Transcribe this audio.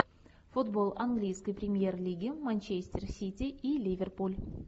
футбол английской премьер лиги манчестер сити и ливерпуль